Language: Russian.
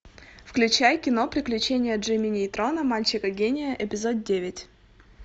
включай кино приключения джимми нейтрона мальчика гения эпизод девять